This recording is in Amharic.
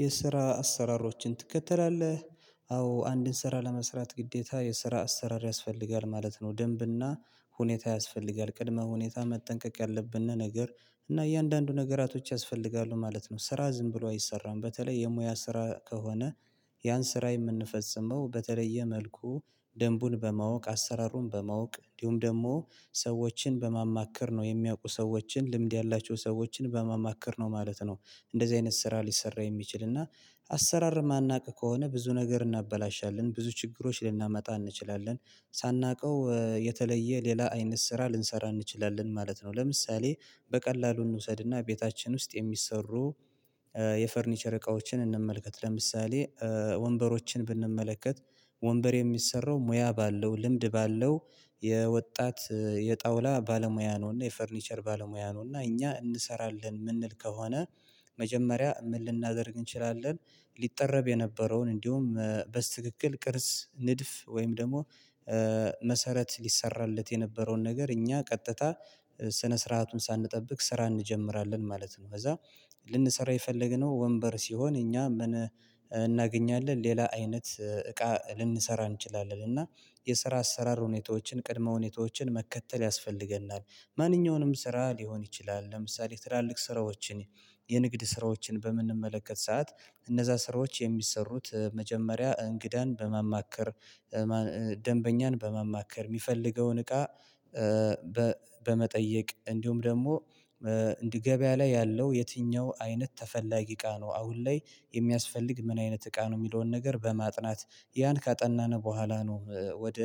የስራ አሰራሮችን ትከተላለህ? አዎ አንድን ስራ ለመስራት ግዴታ የስራ አሰራር ያስፈልጋል ማለት ነው። ደንብና ሁኔታ ያስፈልጋል ቅድመ ሁኔታ መጠንቀቅ ያለብን ነገር እና እያንዳንዱ ነገራቶች ያስፈልጋሉ ማለት ነው። ስራ ዝም ብሎ አይሰራም በተለይ የሙያ ስራ ከሆነ ያን ስራ የምንፈጽመው በተለየ መልኩ ደንቡን በማወቅ አሰራሩን በማወቅ እንዲሁም ደሞ ሰዎችን በማማከር ነው የሚያውቁ ሰዎችን ልምድ ያላቸው ሰዎችን በማማከር ነው ማለት ነው። እንደዚ አይነት ስራ ሊሰራ የሚችል እና አሰራር ማናቅ ከሆነ ብዙ ነገር እናበላሻለን ብዙ ችግሮች ልናመጣ እንችላለን። ሳናቀው የተለየ ሌላ አይነት ስራ ልንሰራ እንችላለን ማለት ነው። ለምሳሌ በቀላሉ እንውሰድና ቤታችን ውስጥ የሚሰሩ የፈርኒቸር እቃዎችን እንመልከት። ለምሳሌ ወንበሮችን ብንመለከት። ወንበር የሚሰራው ሙያ ባለው ልምድ ባለው የወጣት የጣውላ ባለሙያ ነውና የፈርኒቸር ባለሙያ ነውና እኛ እንሰራለን ምንል ከሆነ መጀመሪያ ምን ልናደርግ እንችላለን? ሊጠረብ የነበረውን እንዲውም በስትክክል ቅርጽ ንድፍ ወይም ደሞ መሰረት ሊሰራለት የነበረውን ነገር እኛ ቀጥታ ስነ ስርዓቱን ሳንጠብቅ ስራ እንጀምራለን ማለት ነው። ከዛ ልንሰራ የፈለግነው ወንበር ሲሆን እኛ ምን እናገኛለን ሌላ አይነት እቃ ልንሰራ እንችላለን። እና የስራ አሰራር ሁኔታዎችን ቅድመ ሁኔታዎችን መከተል ያስፈልገናል። ማንኛውንም ስራ ሊሆን ይችላል። ለምሳሌ ትላልቅ ስራዎችን የንግድ ስራዎችን በምንመለከት ሰዓት እነዛ ስራዎች የሚሰሩት መጀመሪያ እንግዳን በማማከር ደንበኛን በማማከር ሚፈልገውን እቃ በመጠየቅ እንዲውም ደሞ ገበያ ላይ ያለው የትኛው አይነት ተፈላጊ እቃ ነው። አሁን ላይ የሚያስፈልግ ምን አይነት እቃ ነው። ሚለውን ነገር በማጥናት ያን ካጠናን በኋላ ነው። ወደ